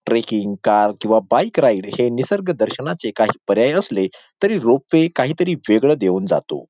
Trekking car किंवा bike ride हे निसर्ग दर्शनाचे काही पर्याय असले तरी रोपवे काहीतरी वेगळं देऊन जातो.